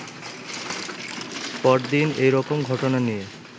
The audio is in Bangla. পরদিন এরকম ঘটনা নিয়ে